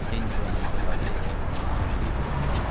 Tennis oynamağı Lareyə elə Anjelika öyrətmişdi.